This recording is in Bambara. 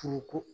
Fugu